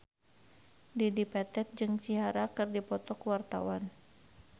Dedi Petet jeung Ciara keur dipoto ku wartawan